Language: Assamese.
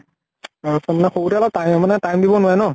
আৰু সৰুতে অলপ তাএ মানে time দিব নোৱাৰে ন।